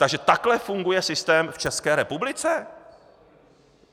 Takže takhle funguje systém v České republice?